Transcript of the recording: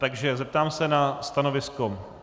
Takže zeptám se na stanovisko.